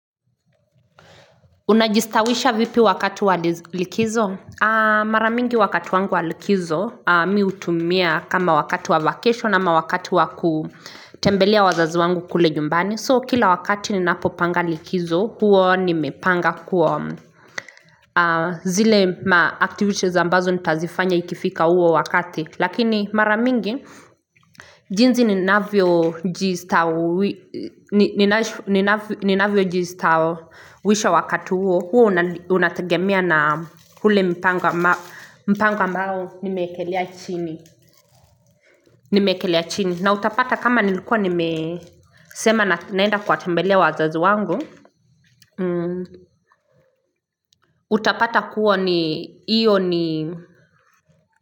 Unajistawisha vipi wakati walikizo? Maramingi wakati wangu walikizo mi hutumia kama wakati wa vacation ama wakati wakutembelea wazazi wangu kule nyumbani. So kila wakati ninapo panga likizo huo nimepanga kuo zile ma activities zambazo nitazifanya ikifika huo wakati. Lakini maramingi, jinsi ninavyo ji ni navyo jistaowisha wakati huo Huwa unategemea na hule mpango ambao nimeekelea chini nimekelea chini na utapata kama nilikuwa nimesema naenda kuwa tembelea wazazi wangu Utapata kuwa ni, iyo ni.